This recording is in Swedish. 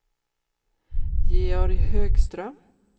Georg Högström